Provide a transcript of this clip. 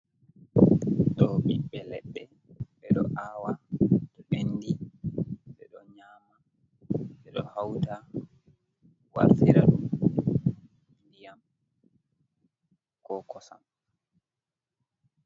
Do ɓiɓɓe leɗɗe ɓe ɗo awa to ɓenɗi ɓe ɗo nyama ,ɓe ɗo hauta wartira ɗum ɗiyam ko kosam.